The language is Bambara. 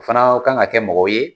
O fana ka kan ka kɛ mɔgɔw ye